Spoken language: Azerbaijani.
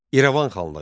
İrəvan xanlığı.